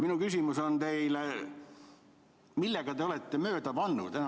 Minu küsimus teile on: millega te olete mööda pannud?